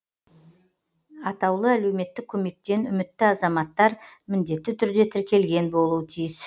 аәк тен үмітті азаматтар міндетті түрде тіркелген болуы тиіс